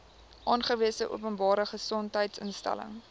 aangewese openbare gesondheidsinstelling